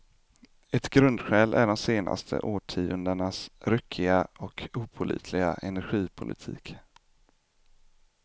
Ett grundskäl är de senaste årtiondenas ryckiga och opålitliga energipolitik.